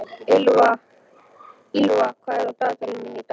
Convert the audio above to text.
Ýlfa, hvað er í dagatalinu mínu í dag?